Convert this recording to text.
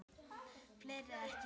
Fleiri ekki gert.